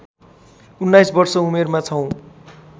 १९ वर्ष उमेरमा छौँ